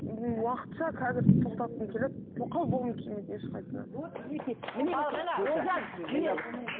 ммм уақытша қазір тоқтатқым келеді тоқал болғым келмейді ешқайсысына вот мінекей